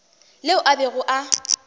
le ao a bego a